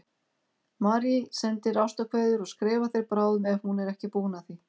Marie sendir ástarkveðjur og skrifar þér bráðum ef hún er ekki búin að því.